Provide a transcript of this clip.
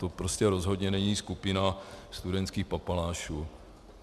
To prostě rozhodně není skupina studentských papalášů.